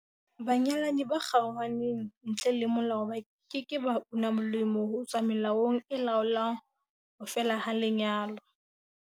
Banyalani ba kgaohaneng ntle le molao ba ke ke ba una molemo ho tswa melaong e laolang ho fela ha lenyalo.